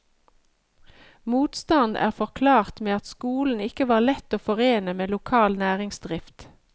Motstand er forklart med at skolen ikke var lett å forene med lokal næringsdrift.